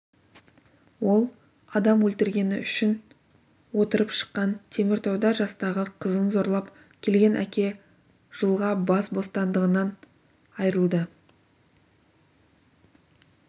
ол адам өлтіргені үшін отырып шыққан теміртауда жастағы қызын зорлап келген әке жылға бас бостандығынан айырылды